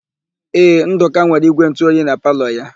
Ee, Ndụka nwere ígwèntụoyi na palọ ya.